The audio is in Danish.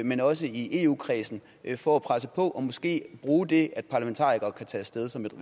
men også i eu kredsen for at presse på og måske bruge det at parlamentarikere kan tage af sted som et